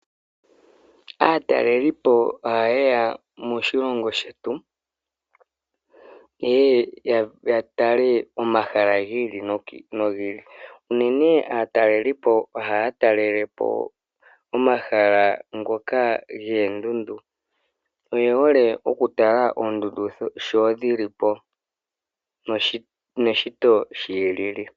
Aatalelipo ohaye ya moshilongo shetu ye ye ya tale omahala gi ili nogi ili. Unene aatalelipo ohaya talele po omahala ngoka goondundu. Oye hole okutala oondundu shi dhi li po neshito shi li li.